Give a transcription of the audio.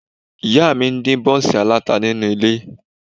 Ìyá mi ń dín bọ́ńsì aláta nínú ilé